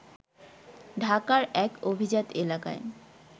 ঢাকার এক অভিজাত এলাকায়